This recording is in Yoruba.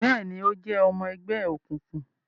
Bẹẹni, o jẹ ọmọ ẹgbẹ òkùnkùn